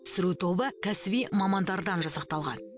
түсіру тобы кәсіби мамандардан жасақталған